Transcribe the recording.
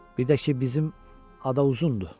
Bir də ki, bizim ada uzundur.